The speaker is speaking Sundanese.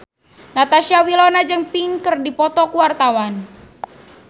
Natasha Wilona jeung Pink keur dipoto ku wartawan